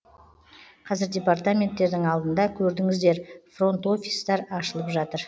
қазір департаменттердің алдында көрдіңіздер фронт офистар ашылып жатыр